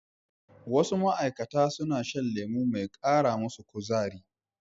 Wasu ma'aikata suna shan lemo mai kara musu kuzari.